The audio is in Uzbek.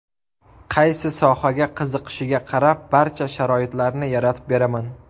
Qaysi sohaga qiziqishiga qarab, barcha sharoitlarni yaratib beraman.